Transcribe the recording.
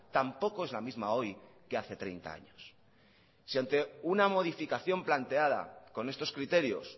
tampoco es la misma hoy que hace treinta años si ante una modificación planteada con estos criterios